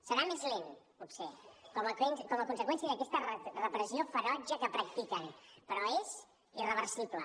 serà més lent potser com a conseqüència d’aquesta repressió ferotge que practiquen però és irreversible